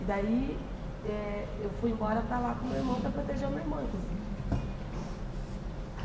E daí, eh eu fui embora para lá com o meu irmão, para proteger o meu irmão, inclusive.